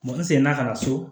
Mɔgɔ seginna ka na so